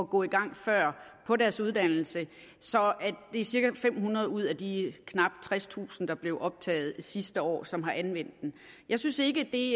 gå i gang før på deres uddannelse det er cirka fem hundrede ud af de knap tredstusind der blev optaget sidste år som har anvendt den jeg synes ikke det